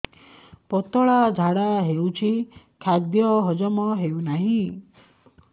ପତଳା ଝାଡା ହେଉଛି ଖାଦ୍ୟ ହଜମ ହେଉନାହିଁ